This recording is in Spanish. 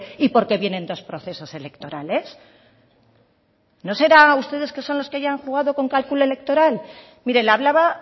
y porque vienen dos procesos electorales no serán ustedes que son los que ya han jugado con cálculo electoral mire le hablaba